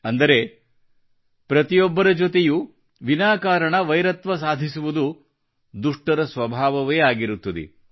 ಅಂದರೆ ಪ್ರತಿಯೊಬ್ಬರ ಜೊತೆಯೂ ವಿನಾಕಾರಣ ವೈರತ್ವ ಸಾಧಿಸುವುದು ದುಷ್ಟರ ಸ್ವಭಾವವೇ ಆಗಿರುತ್ತದೆ